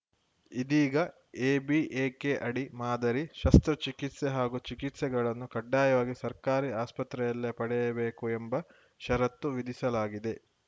ಇದೀಗ ಎಬಿಎಕೆ ಅಡಿ ಮಾದರಿ ಶಸ್ತ್ರಚಿಕಿತ್ಸೆ ಹಾಗೂ ಚಿಕಿತ್ಸೆಗಳನ್ನು ಕಡ್ಡಾಯವಾಗಿ ಸರ್ಕಾರಿ ಆಸ್ಪತ್ರೆಯಲ್ಲೇ ಪಡೆಯಬೇಕು ಎಂಬ ಷರತ್ತು ವಿಧಿಸಲಾಗಿದೆ